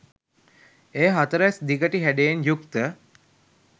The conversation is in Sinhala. එය හතරැස් දිගටි හැඩයෙන් යුක්ත